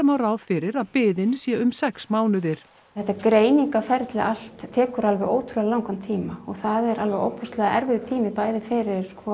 má ráð fyrir að biðin sé um sex mánuðir þetta greiningarferli allt tekur alveg ótrúlega langan tíma og það er alveg ofboðslega erifður tími fyrir